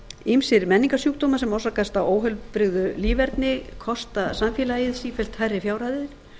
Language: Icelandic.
ýmsir menningarsjúkdómar sem orsakast af óheilbrigðu líferni kosta samfélagið sífellt hærri fjárhæðir